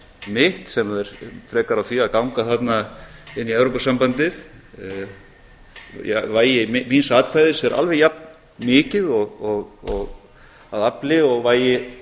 mitt sem er frekar á því að ganga þarna inn í evrópusambandið vægi míns atkvæðis er alveg jafnmikið að afli og vægi